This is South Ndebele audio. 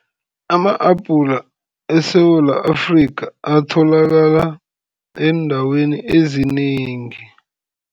Ama-apula, eSewula Afrika atholakala eendaweni ezinengi.